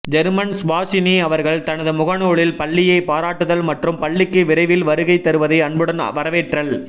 German Subashini அவர்கள் தனது முகநூலில் பள்ளியை பாராட்டுதல் மற்றும் பள்ளிக்கு விரைவில் வருகை தருவதை அன்புடன் வரவேற்றல்